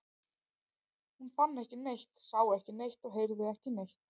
Hún fann ekki neitt, sá ekki neitt og heyrði ekki neitt.